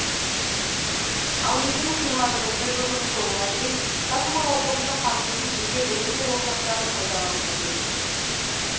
ал екі мың жиырма бірінші жылдың соңына дейін қырық мың оқушыны қамтитын жеке білім беру ошақтары пайдалануға берілмек